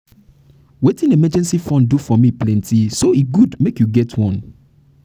wetin emergency fund dey do for me plenty so e good make you get one